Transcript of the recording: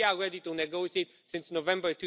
But we are ready to negotiate since November